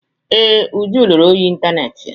Ee, Uju lụrụ ọyị ịntaneetị ya.